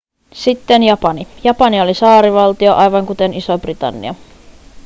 sitten japani japani oli saarivaltio aivan kuten iso-britannia